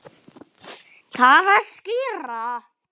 Talaðu skýrar.